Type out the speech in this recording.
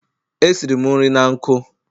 Esiri m nri na nkụ.